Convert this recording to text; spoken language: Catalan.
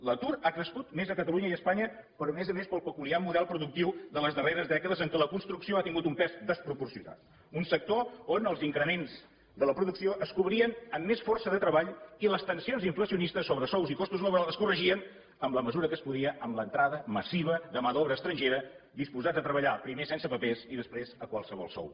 l’atur ha crescut més a catalunya i a espanya però a més a més pel peculiar model productiu de les darreres dècades en què la construcció ha tingut un pes desproporcionat un sector on els increments de la producció es cobrien amb més força de treball i les tensions inflacionistes sobre sous i costos laborals es corregien en la mesura que es podia amb l’entrada massiva de mà d’obra estrangera disposada a treballar primer sense papers i després a qualsevol sou